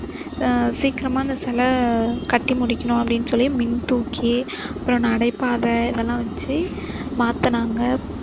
உம் சீக்கிரமா இந்த சிலை கட்டி முடிக்கணும் அப்படின்னு சொல்லி மின்தூக்கி அப்பறம் நடைபாதை இதெல்லாம் வச்சு மாத்தினாங்க.